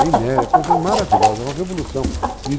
É inédito, é uma coisa maravilhosa, é uma revolução.